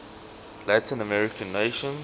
latin american nations